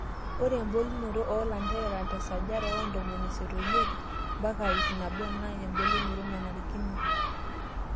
Ore embulunoto oolanterera tesajata oontomoni isiet omiet mpaka iip naboo naa embulunoto nanarikino.